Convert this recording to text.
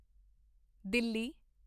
Delhi